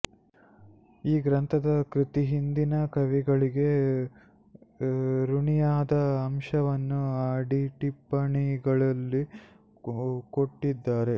ಆ ಗ್ರಂಥದ ಕರ್ತೃ ಹಿಂದಿನ ಕವಿಗಳಿಗೆ ಋಣಿಯಾದ ಅಂಶವನ್ನು ಅಡಿಟಿಪ್ಪಣಿಗಳಲ್ಲಿ ಕೊಟ್ಟಿದ್ದಾರೆ